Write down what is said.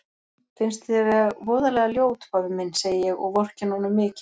Finnst þér ég voðalega ljót pabbi minn, segi ég og vorkenni honum mikið.